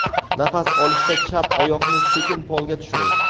Nafas olishda chap oyoqni sekin polga tushiring.